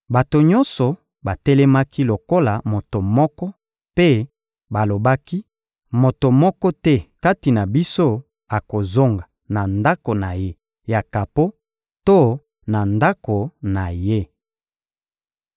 Bato nyonso batelemaki lokola moto moko mpe balobaki: «Moto moko te kati na biso akozonga na ndako na ye ya kapo to na ndako na ye.